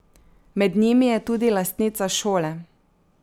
Med njimi je tudi lastnica šole.